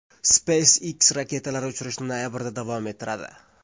SpaceX raketalar uchirishni noyabrda davom ettiradi.